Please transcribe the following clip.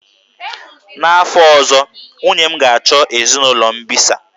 N'afọ ọzọ, nwunye m ga-achọ ezinụlọ mbisa.